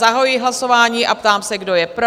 Zahajuji hlasování a ptám se, kdo je pro?